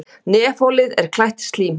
Nefholið er klætt slímhúð.